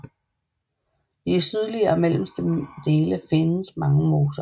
I de sydliggere og mellemste dele findes mange moser